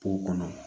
Po kɔnɔ